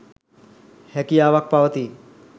හැකියාවක් පවතී.